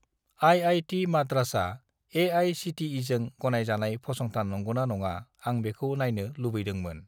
IIT. माद्रासआ ए.आइ.सि.टि.इ.जों गनायजानाय फसंथान नंगौना नङा आं बेखौ नायनो लुबैदोंमोन।